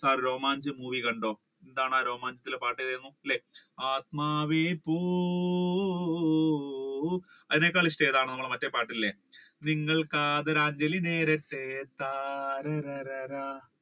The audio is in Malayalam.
ആ രോമാഞ്ചം movie കണ്ടോ എന്താണ് ആ രോമാഞ്ചത്തിലെ പാട്ട് അല്ലെ ആത്മാവേ പോ ഓ ഓ ഓ അതിനേക്കാൾ ഇഷ്ടം ഏതാണ് നമ്മുടെ മറ്റേ പാട്ട് ഇല്ലേ നിങ്ങൾ ആദരാഞ്ജലി നേരത്തെ താര ര ര ര